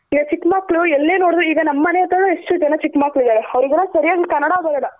ಈಗ ಚಿಕ್ ಮಕ್ಳ್ ಎಲ್ ನೋಡ್ದ್ರುನು ಈಗ ನಮ್ಮನೆ ಅತ್ಹ್ರನು ಎಷ್ಟ್ಚಿ ಜನ ಚಿಕ್ ಮ್ಕಳು ಇದಾರೆ ಅವ್ರ್ಗೆಲ್ಲ ಸರಿಯಾಗ್ ಕನ್ನಡ ಬರಲ್ಲ.